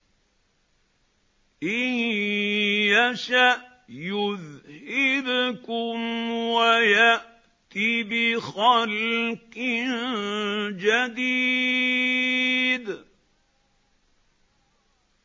إِن يَشَأْ يُذْهِبْكُمْ وَيَأْتِ بِخَلْقٍ جَدِيدٍ